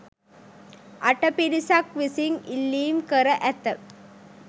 අට පිරිසක් විසින් ඉල්ලීම් කර ඇත.